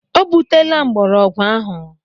O butela mgbọrọgwụ ahụ.